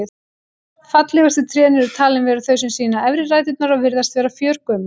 Fallegustu trén eru talin vera þau sem sýna efri ræturnar og virðast vera fjörgömul.